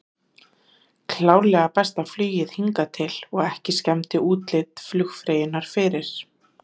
Klárlega besta flugið hingað til og ekki skemmdi útlit flugfreyjunnar fyrir.